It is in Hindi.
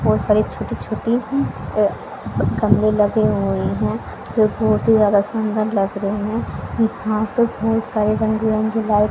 बहुत सारे छोटे छोटे अह गमले लगे हुए हैं जो बहुत ही ज्यादा सुंदर लग रहे हैं यहां पे बहुत सारे रंग बिरंगे लाइट --